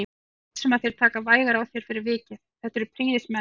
Ég er viss um að þeir taka vægar á þér fyrir vikið, þetta eru prýðismenn